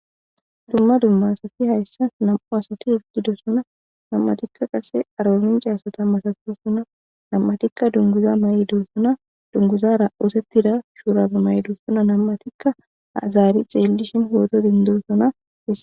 dumma dumma asafi hayssa nam7u asafi hudido suna nam7atikka qase arolinca asata masafora suna nam7atikka dunguza ma7idos suna dunguzara oosettida shuurabe may7edos suna nam7atikka azaari xeellishin huodo dindosona e